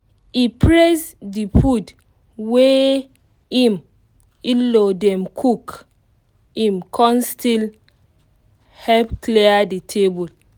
e praise de food wey im in-law dem cook im kon still help clear the table